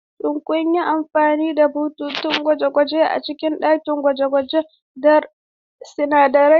Shin kun yi amfani da bututun gwaji a cikin ɗakin gwaje-gwajen sinadarai?